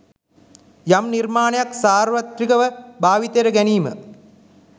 යම් නිර්මාණයක් සාර්වත්‍රික ව භාවිතයට ගැනීම